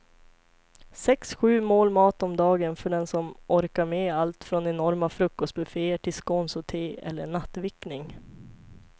Sex, sju mål mat om dagen för den som orkar med allt från enorma frukostbufféer till scones och te eller nattvickning.